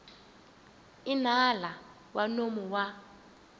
i nala wa nomo wa